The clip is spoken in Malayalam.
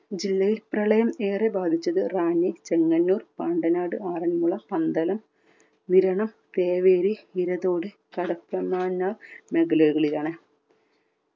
ജില്ലയിൽ പ്രളയം ഏറെ ബാധിച്ചത് റാന്നി ചെങ്ങന്നൂർ പാണ്ടനാട് ആറന്മുള പന്തളം വിരണം തേവേരി ഇരതോട് കടത്തമാന്നാർ മേഖലകളിലാണ്.